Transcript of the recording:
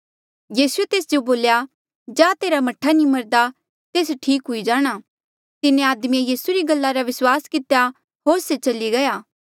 यीसूए तेस जो बोल्या जा तेरा मह्ठा नी मरदा तेस ठीक हुई जाणा तिन्हें आदमिये यीसू री गल्ला रा विस्वास कितेया होर से चली गया